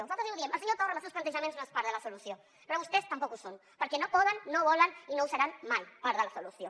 nosaltres ja ho diem el senyor torra amb els seus plantejaments no és part de la solució però vostès tampoc ho són perquè no poden no volen i no seran mai part de la solució